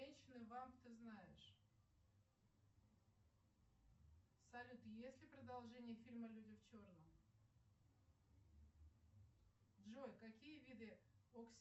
ты знаешь салют есть ли продолжение фильма люди в черном джой какие виды